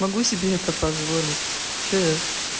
могу себе это позволить что я